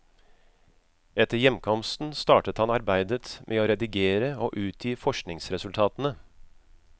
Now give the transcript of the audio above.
Etter hjemkomsten startet han arbeidet med å redigere og utgi forskningsresultatene.